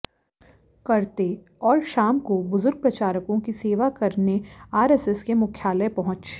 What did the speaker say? करते और शाम को बुजर्ग प्रचारकों की सेवा करने आरएसएस के मुख्यालय पहुंच